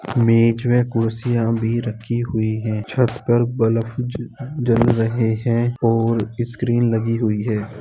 बीच में कुर्सियाँ भी रखी हुई है। छत पर बल्ब जल रहें हैं और स्क्रीन लगी हुई है।